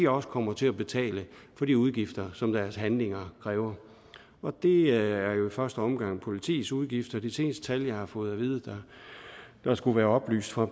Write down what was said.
også kommer til at betale for de udgifter som deres handlinger krævet det er jo i første omgang politiets udgifter det seneste tal jeg har fået at vide der skulle være oplyst fra